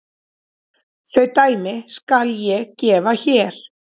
Þau dæmi skal ég gefa hér.